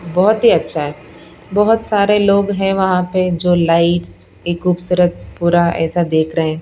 बहुत ही अच्छा है बहुत सारे लोग हैं वहां पे जो लाइट्स एक खूबसूरत पूरा ऐसा देख रहे हैं।